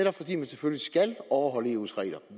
at fordi man selvfølgelig skal overholde eu’s regler